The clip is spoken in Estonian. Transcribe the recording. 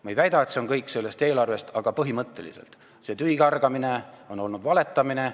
Ma ei väida, et see on kõik sellest eelarvest, aga põhimõtteliselt on see tühikargamine olnud valetamine.